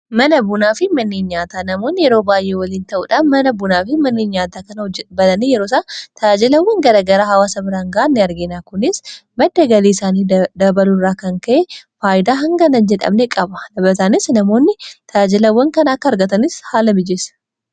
mana bunaa fi manneen nyaataa namoonni yeroo baay'ee waliin ta'uudhaan mana bunaa fi manneen nyaataa kana bananii yeroo isaa taajjilawwan garagaraa hawaasa biraan gahan ni argina kunis madda galii isaanii dabaluu irraan kan ka'ee faayidaa hangana hin jedhamne qaba. tajaajilaanis namoonni tajajilawwan kana akka argatanis haala mijeeessa.